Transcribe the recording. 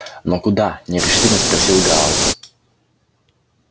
но куда нерешительно спросил гаал